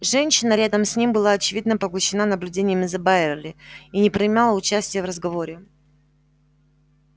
женщина рядом с ним была очевидно поглощена наблюдениями за байерли и не принимала участия в разговоре